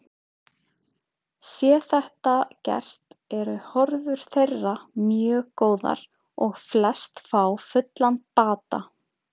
Sé þetta gert eru horfur þeirra mjög góðar og flest fá fullan bata.